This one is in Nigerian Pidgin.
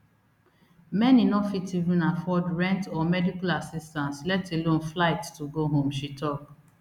many no fit even afford rent or medical assistance let alone flight to go home she tok